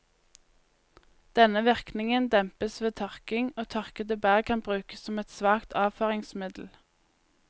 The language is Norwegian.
Denne virkningen dempes ved tørking, og tørkede bær kan brukes som et svakt avføringsmiddel.